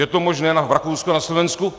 Je to možné v Rakousku a na Slovensku?